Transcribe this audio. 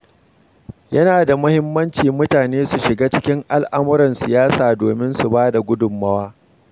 Yana da muhimmanci mutane su shiga cikin al'amuran siyasa domin su ba da gudunmawa.